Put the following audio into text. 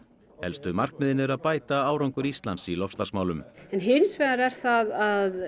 helstu markmiðin eru að bæta árangur Íslands í loftslagsmálum en hins vegar er það að